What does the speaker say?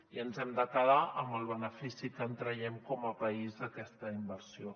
i ens hem de quedar amb el benefici que en traiem com a país d’aquesta inversió